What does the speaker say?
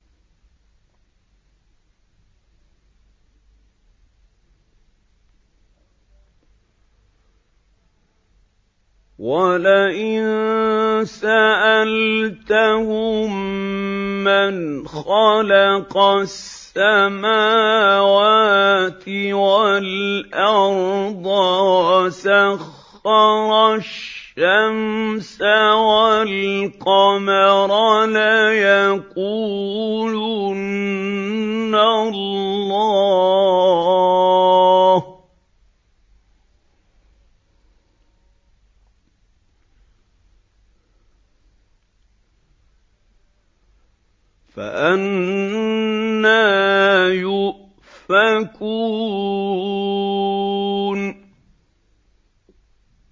وَلَئِن سَأَلْتَهُم مَّنْ خَلَقَ السَّمَاوَاتِ وَالْأَرْضَ وَسَخَّرَ الشَّمْسَ وَالْقَمَرَ لَيَقُولُنَّ اللَّهُ ۖ فَأَنَّىٰ يُؤْفَكُونَ